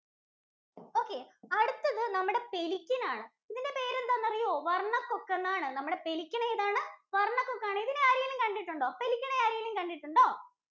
Okay അടുത്തത് നമ്മുടെ pelican ആണ്. ഇതിന്‍റെ പേരെന്താന്നറിയോ, വര്‍ണ്ണകൊക്കെന്നാണ്. നമ്മുടെ pelican ഏതാണ്? വര്‍ണ്ണകൊക്കാണ്. ഇതിനെ ആരേലും കണ്ടിട്ടുണ്ടോ? Pelican എ ആരേലും കണ്ടിട്ടുണ്ടോ?